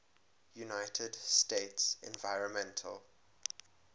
united states environmental